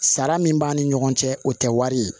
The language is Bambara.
Sara min b'an ni ɲɔgɔn cɛ o tɛ wari ye